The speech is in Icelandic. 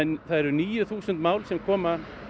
eru níu þúsund mál sem koma